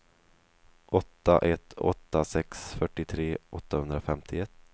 åtta ett åtta sex fyrtiotre åttahundrafemtioett